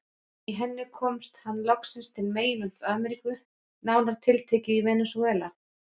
Í henni komst hann loksins til meginlands Ameríku, nánar tiltekið í Venesúela.